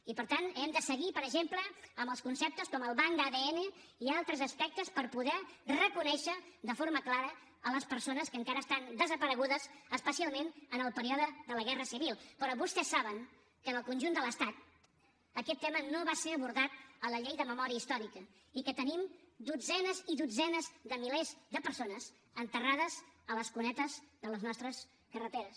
i per tant hem de seguir per exemple amb els conceptes com el banc d’adn i altres aspectes per poder reconèixer de forma clara les persones que encara estan desaparegudes especialment en el període de la guerra civil però vostès saben que en el conjunt de l’estat aquest tema no va ser abordat a la llei de memòria històrica i que tenim dotzenes i dotzenes de milers de persones enterrades a les cunetes de les nostres carreteres